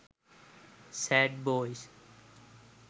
sad boys